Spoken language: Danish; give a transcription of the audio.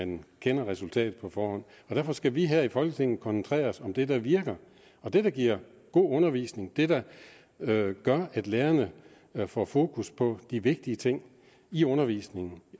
at man kender resultatet på forhånd derfor skal vi her i folketinget koncentrere os om det der virker det der giver god undervisning det der gør at lærerne får fokus på de vigtige ting i undervisningen